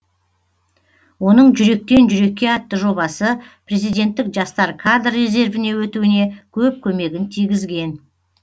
оның жүректен жүрекке атты жобасы президенттік жастар кадр резервіне өтуіне көп көмегін тигізген